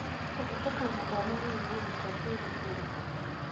Kũhetũka mathomo-inĩ nĩ mũrutwo kwĩrutĩra.